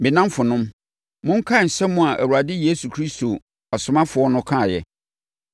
Me nnamfonom, monkae nsɛm a yɛn Awurade Yesu Kristo asomafoɔ no kaeɛ.